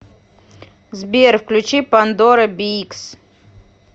сбер включи пандора биикс